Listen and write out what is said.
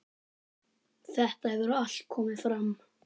Þetta hefur allt komið fram.